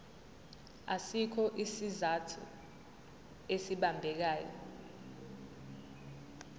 asikho isizathu esibambekayo